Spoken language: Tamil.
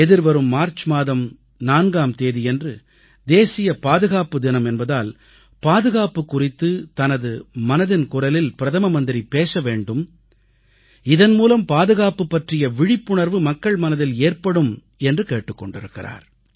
எதிர்வரும் மார்ச் மாதம் 4ஆம் தேதியன்று தேசிய பாதுகாப்பு தினம் என்பதால் பாதுகாப்பு குறித்துத் தனது மனதின் குரலில் பிரதம மந்திரி பேசவேண்டும் இதன் மூலம் பாதுகாப்பு பற்றிய விழிப்புணர்வு மக்கள் மனதில் ஏற்படும் என்று கேட்டுக் கொண்டிருக்கிறார்